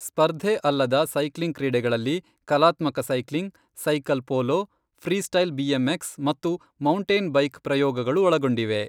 ಸ್ಪರ್ಧೆ ಅಲ್ಲದ ಸೈಕ್ಲಿಂಗ್ ಕ್ರೀಡೆಗಳಲ್ಲಿ ಕಲಾತ್ಮಕ cycling, cycle polo, freestyle BMX ಮತ್ತು ಮೌಂಟೇನ್ ಬೈಕ್ ಪ್ರಯೋಗಗಳು ಒಳಗೊಂಡಿವೆ.